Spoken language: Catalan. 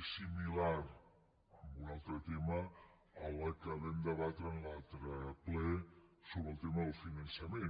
és similar amb un altre tema a la que vam debatre en l’altre ple sobre el tema del finançament